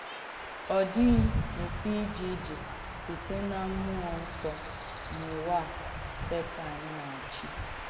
Ọ̀ dìghì mfè ìjè ìjè sìtè nà m̀múọ́ nsọ́ n’ùwà à Sètàn nà-àchì.